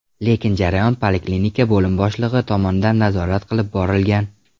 Lekin jarayon poliklinika bo‘lim boshlig‘i tomonidan nazorat qilib borilgan.